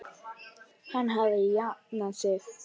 Hann hafði jafnað sig.